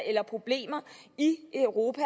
eller problemer i europa